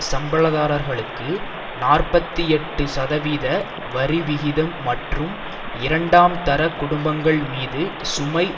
சம்பளதாரர்களுக்கு நாற்பத்தி எட்டு சதவீத வரிவிகிதம் மற்றும் இரண்டாம் தர குடும்பங்கள் மீது சுமை